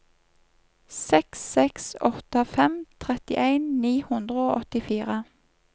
seks seks åtte fem trettien ni hundre og åttifire